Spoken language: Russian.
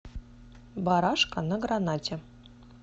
барашка на гранате